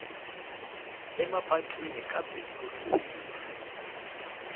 emapatwini ka bindzurisiwa